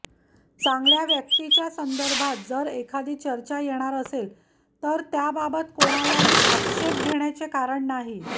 चांगल्या व्यक्तीच्या संदर्भात जर एखादी चर्चा येणार असेल तर त्याबाबत कोणालाही आक्षेप घेण्याचे कारण नाही